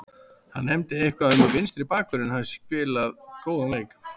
Hann nefndi eitthvað um að vinstri bakvörðurinn hafi spilað góðan leik.